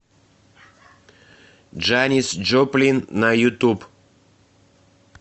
джанис джоплин на ютуб